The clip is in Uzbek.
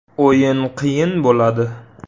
“O‘yin qiyin bo‘ladi.